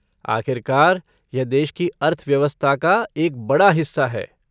आखिरकार, यह देश की अर्थव्यवस्था का एक बड़ा हिस्सा है।